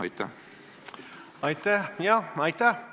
Jah, aitäh!